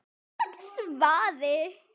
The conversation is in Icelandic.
Já, hvert var svarið?